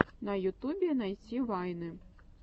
на ютубе найти вайны